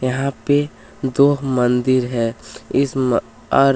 यहां पे दो मंदिर है इस म और --